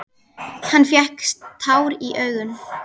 Hann fékk tár í augun.